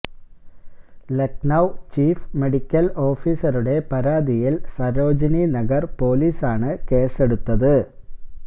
Lucknow chief medical ഓഫീസറുടെ പരാതിയില് സരോജിനി നഗര് പോലീസാണ് കേസെടുത്തത്